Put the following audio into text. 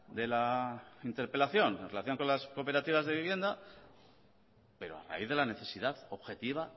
de la interpelación en relación con las cooperativas de vivienda pero a raíz de la necesidad objetiva